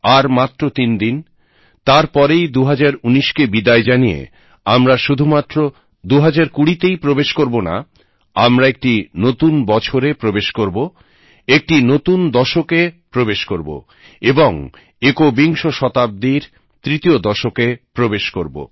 আর মাত্র 3 দিন তার পরেই 2019 কে বিদায় জানিয়ে আমরা শুধুমাত্র 2020 তেই প্রবেশ করবনা আমরা একটি নতুন বছরে প্রবেশ করব একটি নতুন দশকে প্রবেশ করবো এবং একবিংশ শতাব্দীর তৃতীয় দশকে প্রবেশ করব